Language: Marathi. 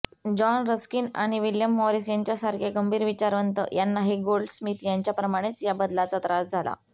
जॉन रस्किन आणि विल्यम मॉरीस यांच्यासारखे गंभीर विचारवंत यांनाही गोल्डस्मिथ यांच्याप्रमाणेच या बदलाचा त्रास झाला